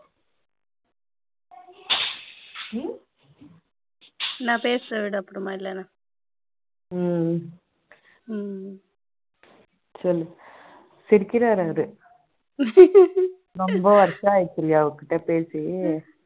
நான் பேசுறேன் விடு அப்புறமா இல்லனா சொல்லு சிரிக்கிறார் அவரு ரொம்ப வருஷம் ஆயிடுச்சு இல்லையா அவர் கிட்ட பேசிட்டு